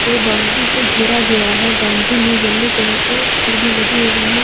Boundary से घेरा गया है बाउंड्री में येलो कलर के छड़ भी लगे हुए हैं।